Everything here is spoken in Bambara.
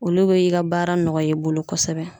Olu be i ka baara nɔgɔya i bolo kosɛbɛ.